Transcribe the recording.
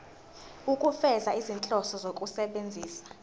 ukufeza izinhloso zokusebenzisa